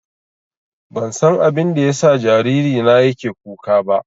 Ban san abinda ya sa jariri na yake kuka ba